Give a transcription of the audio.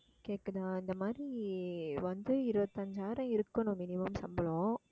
கேட்குதா இந்த மாதிரி வந்து இருபத்தஞ்சாயிரம் இருக்கணும் minimum சம்பளம்